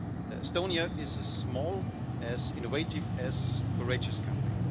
Estonia is a small, innovative and courageous country.